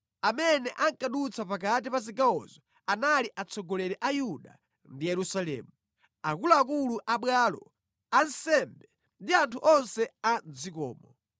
Amene ankadutsa pakati pa zigawozo anali atsogoleri a Yuda ndi Yerusalemu, akuluakulu a bwalo, ansembe ndi anthu onse a mʼdzikomo.